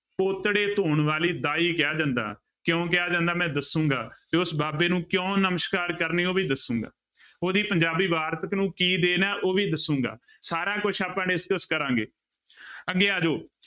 ਪੋਤੜੇ ਧੋਣ ਵਾਲੀ ਦਾਈ ਕਿਹਾ ਜਾਂਦਾ, ਕਿਉਂ ਕਿਹਾ ਜਾਂਦਾ, ਮੈਂ ਦੱਸਾਂਗਾ ਤੇ ਉਸ ਬਾਬੇ ਨੂੰ ਕਿਉਂ ਨਮਸ਼ਕਾਰ ਕਰਨੀ ਉਹ ਵੀ ਦੱਸਾਂਗਾ, ਉਹਦੀ ਪੰਜਾਬੀ ਵਾਰਤਕ ਨੂੰ ਕੀ ਦੇਣ ਹੈ ਉਹ ਵੀ ਦੱਸਾਂਗਾ, ਸਾਰਾ ਕੁਛ ਆਪਾਂ discuss ਕਰਾਂਗੇ ਅੱਗੇ ਆ ਜਾਓ।